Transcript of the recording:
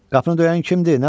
Qapını döyən kimdir?